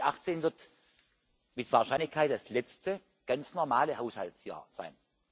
2018 wird mit Wahrscheinlichkeit das letzte ganz normale Haushaltsjahr sein.